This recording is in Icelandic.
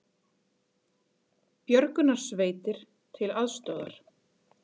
Björgunarsveitir til aðstoðar